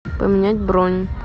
поменять бронь